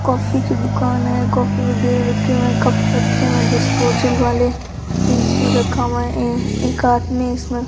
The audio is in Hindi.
कॉफ़ी की दुकान है कॉफी वगैरा रखे हुए हैं कप रखे हुए हैं डिस्पोजल वाले फ्रिज भी रखा हुआ है यें एक आदमी इसमें --